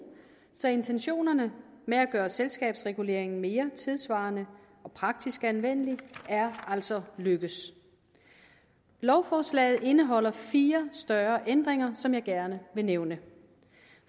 så intentionerne med at gøre selskabsreguleringen mere tidssvarende og praktisk anvendelig er altså lykkedes lovforslaget indeholder fire større ændringer som jeg gerne vil nævne